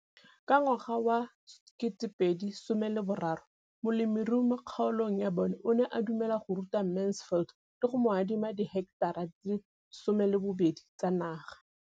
Ka ngwaga wa 2013, molemirui mo kgaolong ya bona o ne a dumela go ruta Mansfield le go mo adima di heketara di le 12 tsa naga.